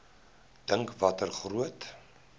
dink watter groot